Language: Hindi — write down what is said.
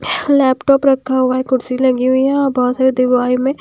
लैपटॉप रखा हुआ है कुर्सी लगी हुई है और बहुत सारी में--